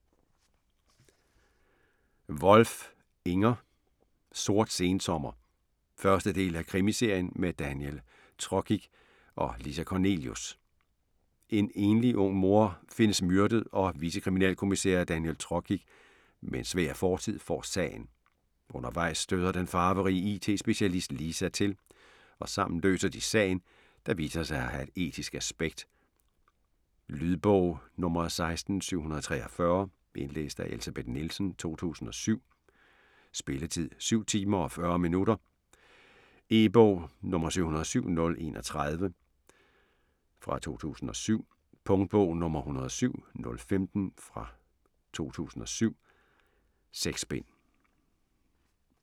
Wolf, Inger: Sort sensommer 1. del af krimiserien med Daniel Trokic og Lisa Kornelius. En ung enlig mor findes myrdet, og vicekriminalkommissær Daniel Trokic med en svær fortid får sagen. Undervejs støder den farverige IT-specialist Lisa til, og sammen løser de sagen, der viser sig at have et etisk aspekt. Lydbog 16743 Indlæst af Elsebeth Nielsen, 2007. Spilletid: 7 timer, 40 minutter. E-bog 707031 2007. Punktbog 107015 2007. 6 bind.